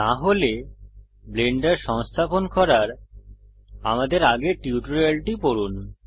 না হলে ব্লেন্ডার সংস্থাপন করার আমাদের আগের টিউটোরিয়ালটি পড়ুন